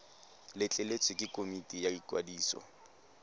letleletswe ke komiti ya ikwadiso